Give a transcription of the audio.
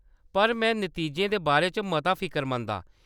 पर में नतीजें दे बारै च मता फिकरमंद आं।